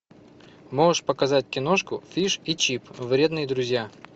можешь показать киношку фиш и чип вредные друзья